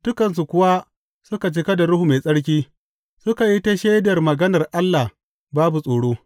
Dukansu kuwa suka cika da Ruhu Mai Tsarki, suka yi ta shaidar maganar Allah babu tsoro.